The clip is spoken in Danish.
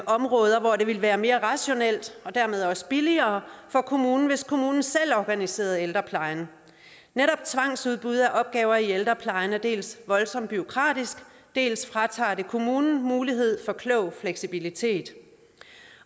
områder hvor det ville være mere rationelt og dermed også billigere for kommunen hvis kommunen selv organiserede ældreplejen netop tvangsudbud af opgaver i ældreplejen er dels voldsomt bureaukratisk dels fratager det kommunen mulighed for klog fleksibilitet